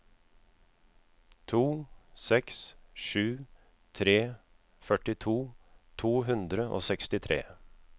to seks sju tre førtito to hundre og sekstitre